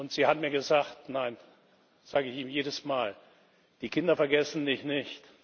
Sie hat mir gesagt Nein, das sage ich ihm jedes Mal, die Kinder vergessen dich nicht.